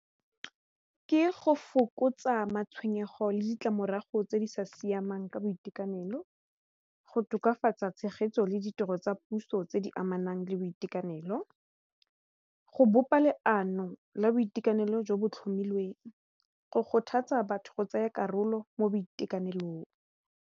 Ke go fokotsa matshwenyego le ditlamorago tse di sa siamang ka boitekanelo, go tokafatsa tshegetso le ditiro tsa puso tse di amanang nang le boitekanelo go bopa leano la boitekanelo jo bo tlhomilweng go kgothatsa batho go tsaya karolo mo boitekanelong.